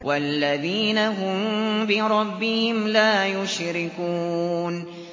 وَالَّذِينَ هُم بِرَبِّهِمْ لَا يُشْرِكُونَ